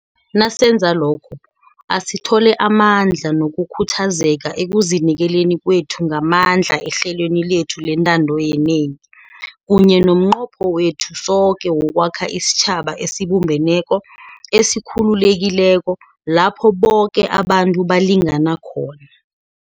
Nasenza lokho, asithole amandla nokukhuthazeka ekuzinikeleni kwethu ngamandla ehlelweni lethu lentando yenengi, kunye nomnqopho wethu soke wokwakha isitjhaba esibumbeneko, esikhululekileko, lapho boke abantu balingana khona.